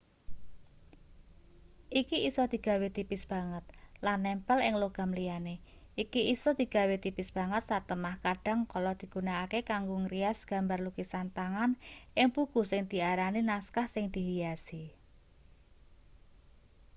iki isa digawe tipis banget lan nempel ing logam liyane iki isa digawe tipis banget satemah kadhang kala digunakake kanggo ngrias gambar lukisan tangan ing buku sing diarani naskah sing dihiasi